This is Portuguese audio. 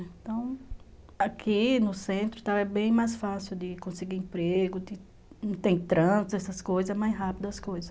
Então, aqui no centro, é bem mais fácil de conseguir emprego, não tem trânsito, essas coisas, é mais rápido as coisas.